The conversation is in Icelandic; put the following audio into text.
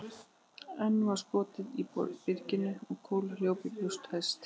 Enn var skotið í byrginu, kúla hljóp í brjóst á hesti.